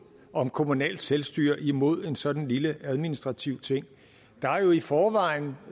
om kommunalt selvstyre imod en sådan lille administrativ ting der er jo i forvejen